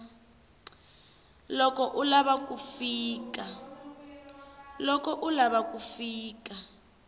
loko u lava ku fika